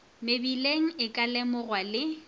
mebileng e ka lemogwa le